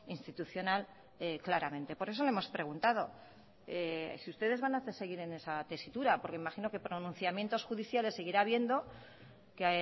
institucional claramente por eso lo hemos preguntado si ustedes van seguir en esa tesitura porque imagino que pronunciamientos judiciales seguirá habiendo que